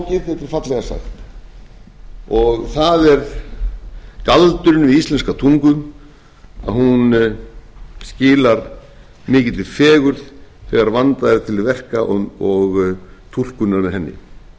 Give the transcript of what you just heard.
ekkert flókið þetta er fallega sagt það er galdurinn við íslenska tungu að hún skilar mikilli fegurð þegar vandað er til verka og túlkunin á henni virðulegi forseti